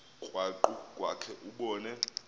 krwaqu kwakhe ubone